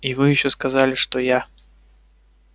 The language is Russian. и вы ещё сказали что я